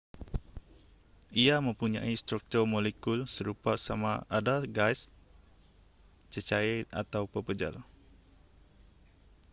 ia mempunyai struktur molekul serupa sama ada gas cecair atau pepejal